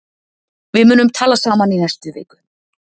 Við munum tala saman í næstu viku.